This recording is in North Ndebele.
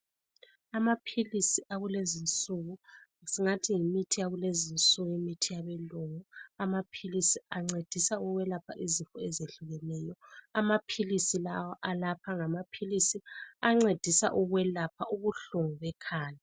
Amaphilisi akulezinsuku, singathi yimithi yakulezinsuku ,imithi yabelungu .Amaphilisi ancedisa ukwelapha izifo ezehlukeneyo . Amaphilisi lawa alapha ngamaphilisi ancedisa ukwelapha ubuhlungu bekhanda.